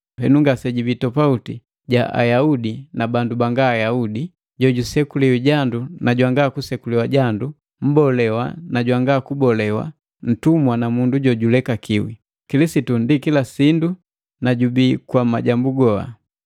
Henu ngasejibii topauti ja Ayaudi na bandu banga Ayaudi, jojusekuliwi jandu na jwanga kunseku jandu, mbolewa na jwanga mbolewa, mtumwa na mundu jojulekakiwi. Kilisitu ndi kila sindu na jubii kwa majambu goa.